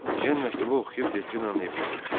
Ejen məktubu oxuyub Delfinanın evinə getdi.